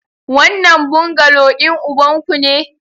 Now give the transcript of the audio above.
Wannan bungalow din ubanku ne?